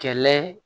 Kɛlɛ